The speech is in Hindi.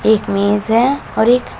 एक मेज है और एक--